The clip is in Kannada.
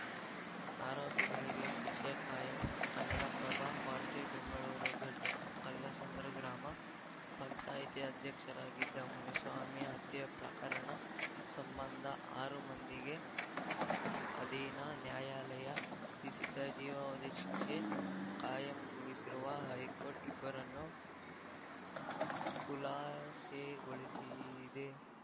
ಆರೋಪಿಗಳಿಗೆ ಶಿಕ್ಷೆ ಕಾಯಂ ಕನ್ನಡಪ್ರಭ ವಾರ್ತೆ ಬೆಂಗಳೂರು ದೊಡ್ಡಕಲ್ಲಸಂದ್ರ ಗ್ರಾಮ ಪಂಚಾಯಿತಿ ಅಧ್ಯಕ್ಷರಾಗಿದ್ದ ಮುನಿಸ್ವಾಮಿ ಹತ್ಯೆ ಪ್ರಕರಣ ಸಂಬಂಧ ಆರು ಮಂದಿಗೆ ಅಧೀನ ನ್ಯಾಯಾಲಯ ವಿಧಿಸಿದ್ದ ಜೀವಾವಧಿ ಶಿಕ್ಷೆ ಕಾಯಂಗೊಳಿಸಿರುವ ಹೈಕೋರ್ಟ್‌ ಇಬ್ಬರನ್ನು ಖುಲಾಸೆಗೊಳಿಸಿದೆ